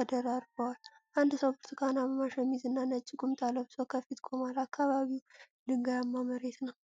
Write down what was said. ተደራርበዋል። አንድ ሰው ብርቱካናማ ሸሚዝና ነጭ ቁምጣ ለብሶ ከፊት ቆሟል። አካባቢው ድንጋያማ መሬት ነው።